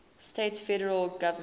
states federal government